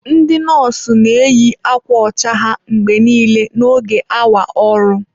Ndị nọọsụ na-eyi akwa ọcha ha mgbe niile n'oge awa ọrụ.